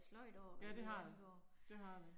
Ja det har det, det har det